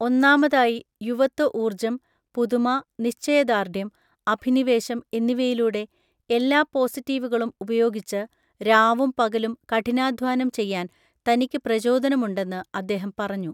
ഒന്നാമതായി, യുവത്വ ഊർജ്ജം, പുതുമ, നിശ്ചയദാർഢ്യം, അഭിനിവേശം എന്നിവയിലൂടെ എല്ലാ പോസിറ്റീവുകളും ഉപയോഗിച്ച് രാവും പകലും കഠിനാധ്വാനം ചെയ്യാൻ തനിക്ക് പ്രചോദനമുണ്ടെന്ന് അദ്ദേഹം പറഞ്ഞു.